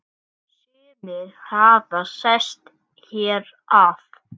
Sumir hafi sest hér að.